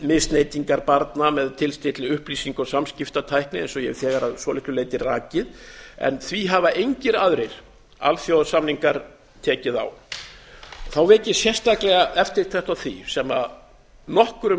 kynferðislegrar misneyting barna með tilstilli upplýsinga og samskiptatækni eins og ég hef þegar að svolitlu leyti rakið en því hafa engir aðrir alþjóðasamningar tekið á þá vek ég sérstaklega eftirtekt á því sem nokkrum